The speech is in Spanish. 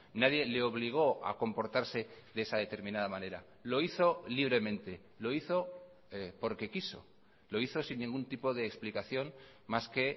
nadie le obligó a comportarse de esa determinada manera lo hizo libremente lo hizo porque quiso lo hizo sin ningún tipo de explicación más que